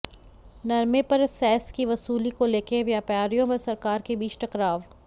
नरमे पर सैस की वसूली को लेकर व्यापारियों व सरकार के बीच टकराव